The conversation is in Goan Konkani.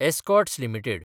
Escorts limited